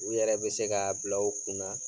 U yɛrɛ be se k'a bila u kun na